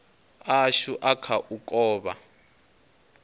ashu a kha u kovha